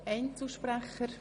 Einzelsprecher